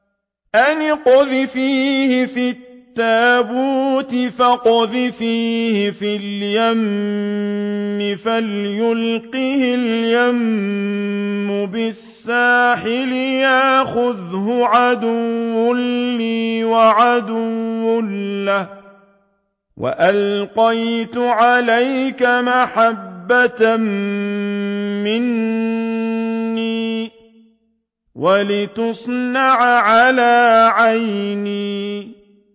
أَنِ اقْذِفِيهِ فِي التَّابُوتِ فَاقْذِفِيهِ فِي الْيَمِّ فَلْيُلْقِهِ الْيَمُّ بِالسَّاحِلِ يَأْخُذْهُ عَدُوٌّ لِّي وَعَدُوٌّ لَّهُ ۚ وَأَلْقَيْتُ عَلَيْكَ مَحَبَّةً مِّنِّي وَلِتُصْنَعَ عَلَىٰ عَيْنِي